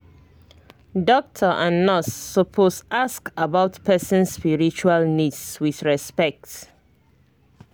doctor and nurse suppose ask about person's spiritual needs with respect